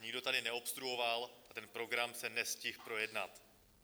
Nikdo tady neobstruoval a ten program se nestihl projednat.